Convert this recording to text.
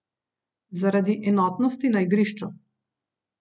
Zaradi enotnosti na igrišču.